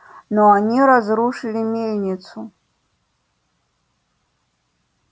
но они разрушили мельницу